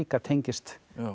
tengist